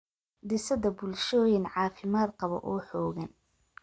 dhisidda bulshooyin caafimaad qaba oo xooggan.